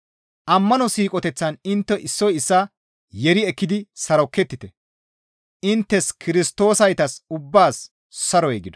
Ammano siiqoteththan intte issoy issaa yeeri yeeri ekkidi sarokettite. Inttes Kirstoosaytas ubbaas saroy gido.